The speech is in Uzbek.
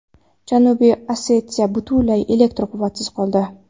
Janubiy Osetiya butunlay elektr quvvatisiz qoldi.